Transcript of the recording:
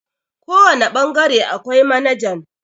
kawane bangare akwai manajan